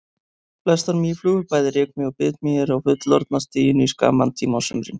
Flestar mýflugur, bæði rykmý og bitmý eru á fullorðna stiginu í skamman tíma á sumrin.